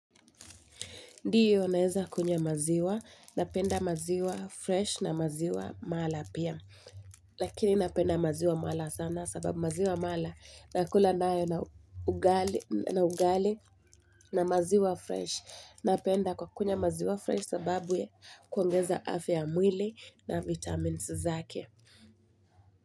Ndiyo naeza kunywa maziwa, napenda maziwa fresh na maziwa mala pia. Lakini napenda maziwa mala sana sababu maziwa mala nakula nayo na ugali na ugali na maziwa fresh. Napenda kukunywa maziwa fresh sababu ya kuongeza afya ya mwili na vitamins zake.